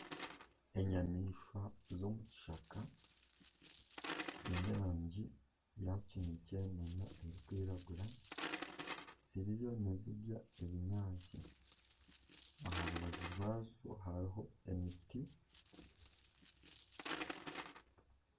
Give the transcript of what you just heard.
Enyamaishwa z'omu kishaka ziine erangi ya kinekye nana erikwiragura ziriyo nizirya ebinyaasti. Aha rubaju rwazo hariho omuti.